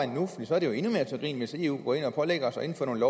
så er det jo endnu mere til grin hvis eu går ind og pålægger os at indføre nogle